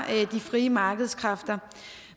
de frie markedskræfter